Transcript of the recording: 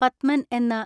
പത്മൻ എന്ന